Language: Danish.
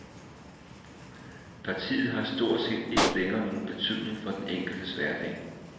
Partiet har stort set ikke længere nogen betydning for den enkeltes hverdag.